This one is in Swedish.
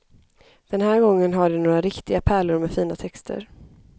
Den här gången har de några riktiga pärlor med fina texter.